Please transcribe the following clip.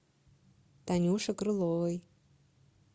танюше крыловой